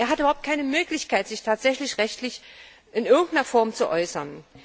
wird. Er hat überhaupt keine Möglichkeit, sich rechtlich in irgendeiner Form zu äußern.